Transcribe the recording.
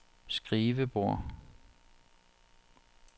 skrivebord